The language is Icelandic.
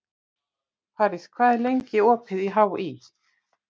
París, hvað er lengi opið í HÍ?